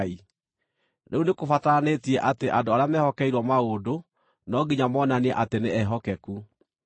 Rĩu nĩkũbataranĩtie atĩ andũ arĩa mehokeirwo maũndũ no nginya monanie atĩ nĩ ehokeku.